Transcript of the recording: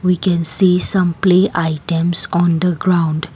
We can see some play items on the ground.